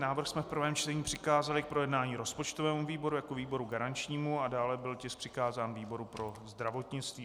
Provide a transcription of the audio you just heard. Návrh jsme v prvém čtení přikázali k projednání rozpočtovému výboru jako výboru garančnímu a dále byl tisk přikázán výboru pro zdravotnictví.